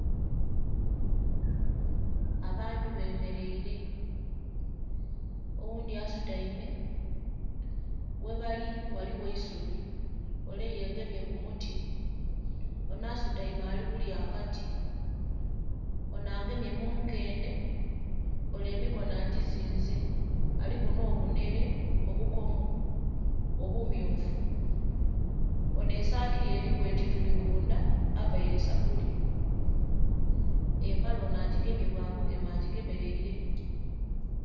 Abantu bemereire oghundhi asutaime, ghebali ghaligho eisubi ole yegemye ku muti. Onho asutaime ali kulya akati, onho agemye munkendhe ole emikono agizinze aliku nho bunhere, obukomo obu myufu, onho esaati ye eliku ekituli kundha avaire sapuli empale onho agigemye bwa bugeme agigemereire.